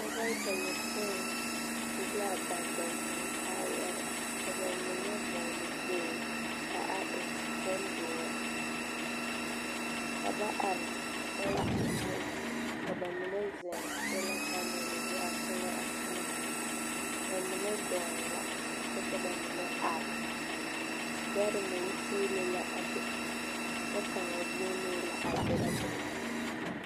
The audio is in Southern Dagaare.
Dɔba bayɔpoĩ su la ba tontoŋkaayare, ka ba mine vɔgele kpool ka a e bondoɔr. Ka ba ar kyɛnse zu ka ba mine zeŋ solapanɛl a tona a toma. Ba mine dɔɔɛ la kyɛ ka ba mine ar. Dɛre meŋ tiile la a be, kyɛ kaŋa vuunee la a derɛ bon.